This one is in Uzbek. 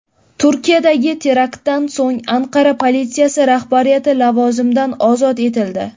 Turkiyadagi teraktdan so‘ng Anqara politsiyasi rahbariyati lavozimidan ozod etildi.